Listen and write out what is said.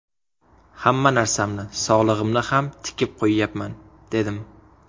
Hamma narsamni, sog‘lig‘imni ham tikib qo‘yyapman, dedim.